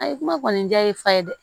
Ayi kuma kɔni ja ye fa ye dɛ